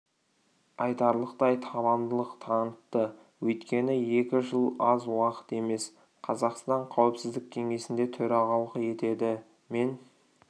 айтарлықтай табандылық танытты өйткені екі жыл аз уақыт емес қазақстан қауіпсіздік кеңесінде төрағалық етеді мен